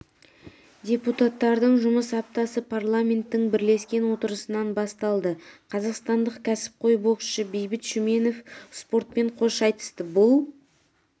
депутаттардың жұмыс аптасы парламенттің бірлескен отырысынан басталды қазақстандық кәсіпқой боксшы бейбіт шүменов спортпен қош айтысты бұл